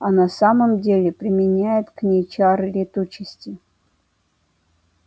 а на самом деле применяет к ней чары летучести